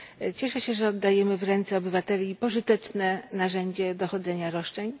Cieszę się, że oddajemy w ręce obywateli pożyteczne narzędzie dochodzenia roszczeń.